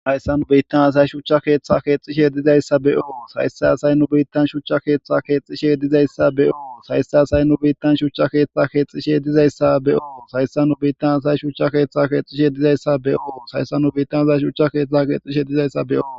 Hayssa nu biittan asay shucha keeththa keexishe dizayssa beoo sayse asay nu biittan shucha keeththa keexxishe dizayssa beyo saysse asay nu biittan shucha keeththa keexxishe dizayssa beo sayssa nu biittan asay shucha keeththa keexishe dizayssa be7oo sayssa nu biittan asay shucha keextha keexxishe dizayssa beoo.